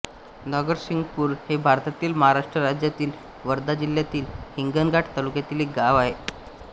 नरसिंगपूर हे भारतातील महाराष्ट्र राज्यातील वर्धा जिल्ह्यातील हिंगणघाट तालुक्यातील एक गाव आहे